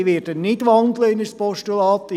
Ich werde nicht in ein Postulat wandeln.